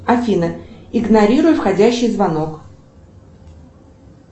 афина игнорируй входящий звонок